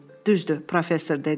Düzdür, professor dedi.